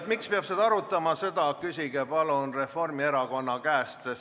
Miks peab seda arutama, seda küsige palun Reformierakonna käest.